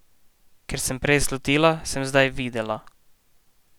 Kar sem prej slutila, sem zdaj videla.